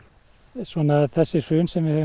svona þessi hrun sem við höfum